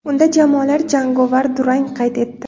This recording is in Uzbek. Unda jamoalar jangovar durang qayd etdi.